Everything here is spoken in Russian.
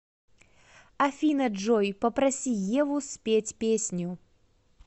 афина джой попроси еву спеть песню